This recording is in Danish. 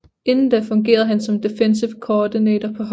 Inden da fungerede han som Defensive Coordinator på holdet